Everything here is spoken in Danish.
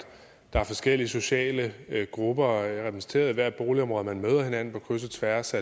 der er forskellige sociale grupper repræsenteret i hvert boligområde man møder hinanden på kryds og tværs